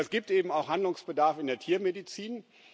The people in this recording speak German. Aber es gibt eben auch Handlungsbedarf in der Tiermedizin.